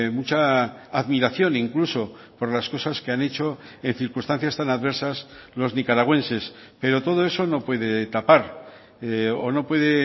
mucha admiración incluso por las cosas que han hecho en circunstancias tan adversas los nicaragüenses pero todo eso no puede tapar o no puede